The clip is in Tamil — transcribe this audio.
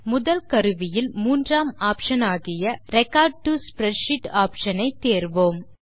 முதல் கருவியில் மூன்றாம் ஆப்ஷன் ஆகிய ரெக்கார்ட் டோ ஸ்ப்ரெட்ஷீட் ஆப்ஷன் ஐ தேர்வோம்